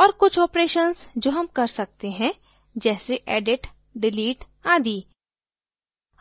और कुछ operations जो हम कर सकते हैं जैसे edit delete आदि